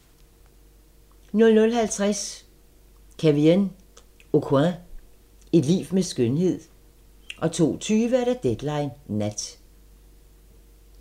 00:50: Kevyn Aucoin – et liv med skønhed 02:20: Deadline Nat